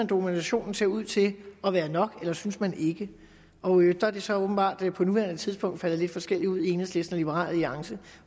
dokumentationen ser ud til at være nok eller synes man ikke og der er det så åbenbart på nuværende tidspunkt faldet lidt forskelligt ud i enhedslisten og liberal alliance